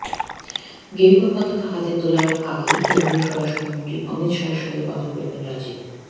গেরুয়া পতাকা হাতে তোলার আগে কেন্দ্রীয় স্বরাষ্ট্রমন্ত্রী অমিত শাহের সঙ্গে কথা বলবেন রাজীব